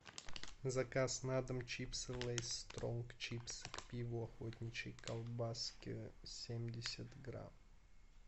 заказ на дом чипсы лейс стронг чипсы к пиву охотничьи колбаски семьдесят грамм